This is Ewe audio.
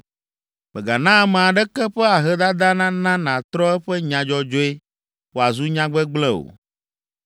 “Mègana ame aɖeke ƒe ahedada nana nàtrɔ eƒe nya dzɔdzɔe wòazu nya gbegblẽ o.